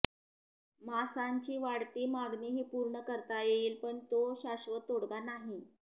मांसाची वाढती मागणीही पूर्ण करता येईल पण तो शाश्वत तोडगा नाही